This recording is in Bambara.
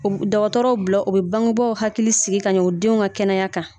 O dɔgɔtɔrɔw bila u be bangebaw hakili sigi kaɲɛ o denw ka kɛnɛya kan